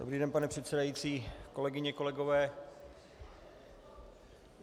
Dobrý den, pane předsedající, kolegyně, kolegové.